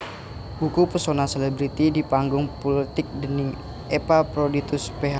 Buku Pesona Selebriti di Panggung Pulitik déning Epaphroditus Ph